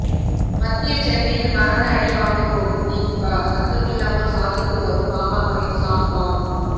மத்திய சென்னையில் மரண அடி வாங்க போகும் திமுக சத்தமில்லாமல் சாதித்து வரும் பாமகவின் சாம் பால்